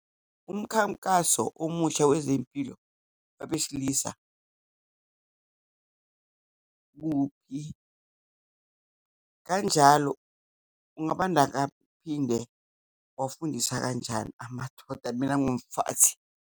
Umkhankaso omusha wezempilo wabesilisa kanjalo ungabanda phinde ngiwafundisa kanjani amadoda, mini ngiwumfazi.